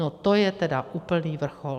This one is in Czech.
No to je teda úplný vrchol!